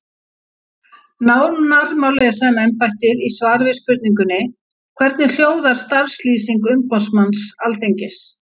Nánar má lesa um embættið í svari við spurningunni Hvernig hljóðar starfslýsing umboðsmanns Alþingis?